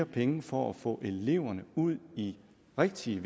penge for at få eleverne ud i rigtige